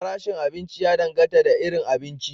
Farashin abinci ya dangata da irin abinci.